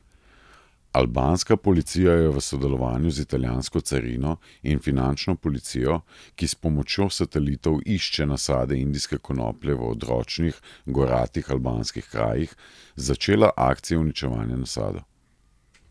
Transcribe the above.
Albanska policija je v sodelovanju z italijansko carino in finančno policijo, ki s pomočjo satelitov išče nasade indijske konoplje v odročnih, goratih albanskih krajih, začela akcije uničevanja nasadov.